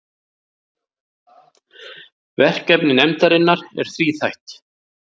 Verkefni nefndarinnar er þríþætt